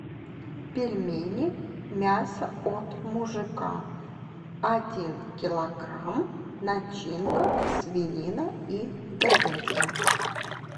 пельмени мясо от мужика один килограмм начинка свинина и говядина